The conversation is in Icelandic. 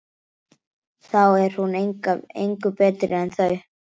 Þá er hún engu betri en þau.